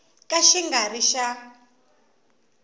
ka xi nga ri xa